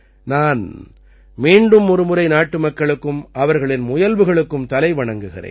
நான் மீண்டும் ஒருமுறை நாட்டுமக்களுக்கும் அவர்களின் முயல்வுகளுக்கும் தலைவணங்குகிறேன்